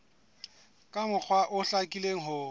ka mokgwa o hlakileng ho